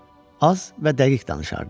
Az və dəqiq danışardı.